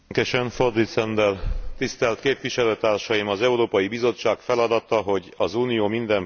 Az Európai Bizottság feladata, hogy az Unió minden polgárát, minden közösségét megszólítsa.